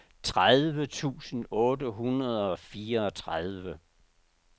tredive tusind otte hundrede og fireogtredive